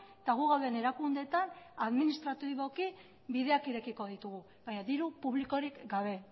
eta gu gauden erakundeetan administratiboki bideak irekiko ditugu baina diru publikorik gabe